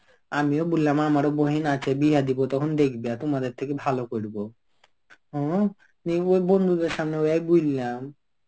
আমিও বললাম আমারো বহিন আছে বিয়াহ দিবো. তখন দেখবে তোমাদের থেকে ভালো করবো. হম ওই বন্ধুদের সামনে ওই বুললাম.